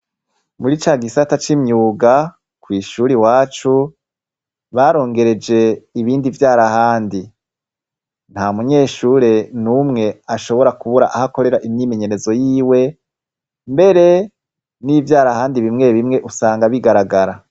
Muri ca gisata c'imyuga kw'ishuri wacu barongereje ibindi vyarahandi nta munyeshure ni umwe ashobora kubura ahakorera imyimenyerezo yiwe mbere n'ivyarahandi bimwe bimwe usanga bigaragara.